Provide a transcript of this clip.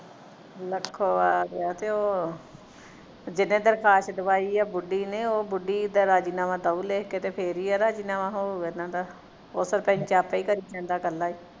Lakhowal ਆ ਤੇ ਉਹ ਜਿੰਨੇ ਦਰਖਾਸ ਦਵਾਈ ਆ ਬੁੱਢੀ ਨੇ ਉਹ ਉਹ ਬੁੱਢੀ ਦਾ ਰਾਜ਼ੀਨਾਮਾ ਲਿੱਖ ਕੇ ਦਓ ਫੇਰ ਹੀ ਆ ਰਾਜ਼ੀਨਾਮਾ ਹੋਓ ਇਹਨਾਂ ਦਾ ਉਹ ਸਰਪੰਚ ਆਪੇ ਹੀ ਕਰੀ ਜਾਂਦਾ ਕਲਾਹੀ